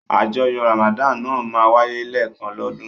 Àjọyọ̀ Ramadan náà máa ń wáyé lẹ́ẹ̀kan lọ́dún.